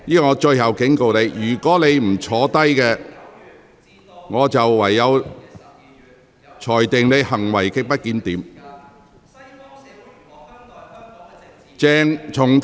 鄭議員，我最後警告你，如果你不坐下，我會裁定你行為極不檢點。